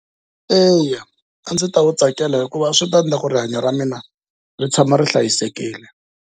Eya a ndzi ta wu tsakela hikuva swi ta endla ku rihanya ra mina ri tshama ri hlayisekile.